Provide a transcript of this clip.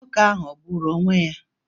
Nwoke ahụ o gburu onwé ya?